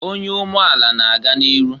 Onye umeala na-aga n'iru.